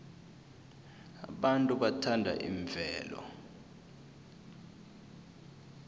abantu bathanda imvelo